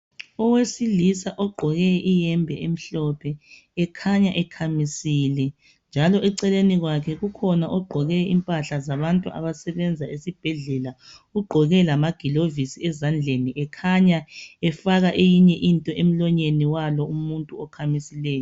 Owesilisa ogqoke iyembe emhlophe ekhanya ekhamisile . Njalo eceleni kwakhe kukhona ogqoke impahla zabantu abasebenza esibhedlela . Ugqoke lamagilovisi ezandleni . Ekhanya efaka eyinye into emlonyeni walo okhamisileyo .